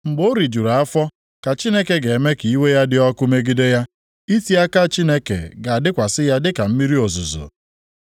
Mgbe o rijuru afọ ka Chineke ga-eme ka iwe ya dị ọkụ megide ya, iti aka Chineke ga-adakwasị ya dịka mmiri ozuzo.